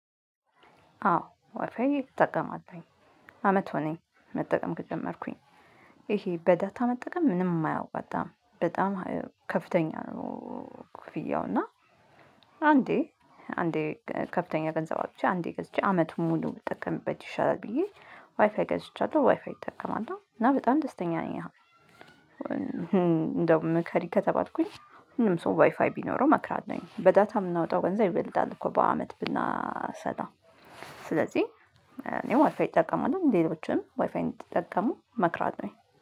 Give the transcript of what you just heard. አዎ ዋይፋይ እጠቀማለሁኝ። አመት ሆነኝ መጠቀም ከጀመርኩኝ። ይሄ በዳታ መጠቀም ምንም አያዋጣም። በጣም ከፍተኛ ነው ክፍያው። እና አንዴ አንዴ ከፍተኛ ገንዘብ አውጥቼ አንዴ ገዝቼ አመቱን ሙሉ ብጠቀምበት ይሻላል ብዬ ዋይፋይ ገዝቻለሁ። ዋይፋይ እጠቀማለሁ። እና በጣም ደስተኛ ነኝ አሁን። እንደው ምከሪ ከተባልኩኝ ሁሉም ሰው ዋይፋይ ቢኖረው እመክራለሁ። በዳታ የምናወጣው ገንዘብ ይበልጣል እኮ በአመት ብናሰላው ስለዚህ እኔ ዋይፋይ እጠቀማለሁ። ሌሎችም ዋይፋይ እንድትጠቀሙ እመክራለሁኝ።